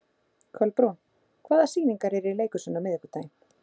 Kolbrún, hvaða sýningar eru í leikhúsinu á miðvikudaginn?